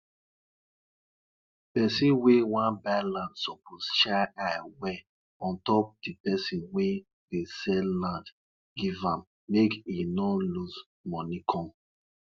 de sound wey drum dey make wen dem beat am dey tell story um about elephant wey been clear the road dem dey use go farm farm um